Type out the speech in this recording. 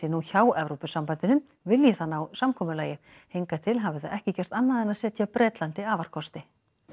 nú hjá Evrópusambandinu vilji það ná samkomulagi hingað til hafi það ekki gert annað en að setja Bretlandi afarkosti